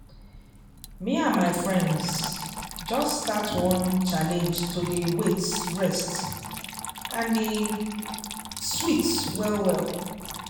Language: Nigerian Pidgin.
me and my friends just start one challenge to dey wait rest and e sweet well well